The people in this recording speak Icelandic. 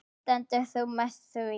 Stendur þú með því?